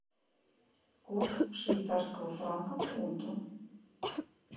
курс швейцарского франка к фунту